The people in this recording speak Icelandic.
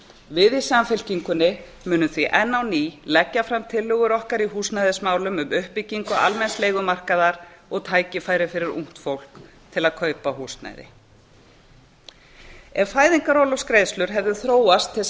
við í samfylkingunni munum því enn á ný leggja fram tillögur okkar í húsnæðismálum um uppbyggingu almenns leigumarkaðar og tækifæri fyrir ungt fólk til að kaupa húsnæði ef fæðingarorlofsgreiðslur hefðu þróast til